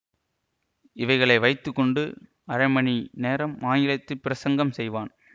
இவைகளை வைத்து கொண்டு அரை மணி நேரம் ஆங்கிலத்தில் பிரசங்கம் செய்வான்